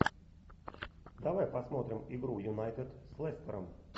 давай посмотрим игру юнайтед с лестером